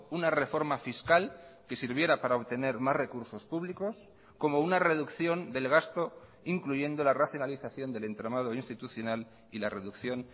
una reforma fiscal que sirviera para obtener más recursos públicos como una reducción del gasto incluyendo la racionalización del entramado institucional y la reducción